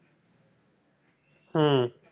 ஹம்